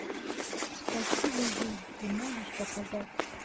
спасибо жизнь ты можешь показать